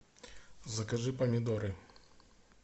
закажи помидоры